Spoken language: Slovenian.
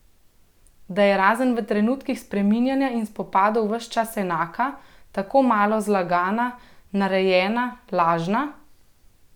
Da je razen v trenutkih spreminjanja in spopadov ves čas enaka, tako malo zlagana, narejena, lažna?